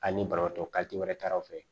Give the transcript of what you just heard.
Ani banabaatɔ wɛrɛ taraw fɛ